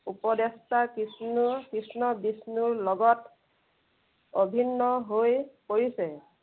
উপদেষ্টা কিষ্ণুৰ কৃষ্ণ বিষ্ণুৰ লগত অভিন্ন হৈ পৰিছে।